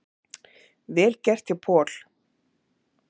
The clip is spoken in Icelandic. Vel gert hjá Paul.